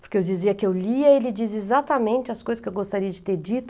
Porque eu dizia que eu lia e ele dizia exatamente as coisas que eu gostaria de ter dito.